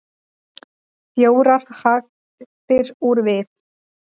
Fjórar hagldir úr við.